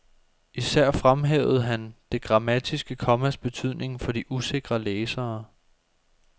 Især fremhævede han det grammatiske kommas betydning for de usikre læsere.